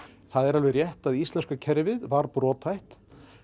það er alveg rétt að íslenska kerfið var brothætt